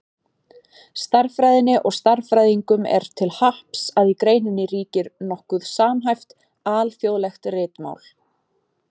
Stærðfræðinni og stærðfræðingum er til happs að í greininni ríkir nokkuð samhæft, alþjóðlegt ritmál.